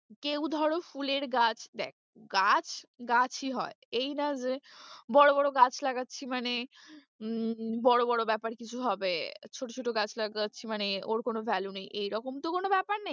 কেউ ধরো ফুলের গাছ, দেখ গাছ গাছই হয় এই না যে বড়ো বড়ো গাছ লাগাচ্ছি মানে উম বড়ো বড়ো ব্যাপার কিছু হবে, ছোট ছোট গাছ লাগাচ্ছি মানে ওর কোনো value নেই এইরকম তো কোনো ব্যাপার নেই।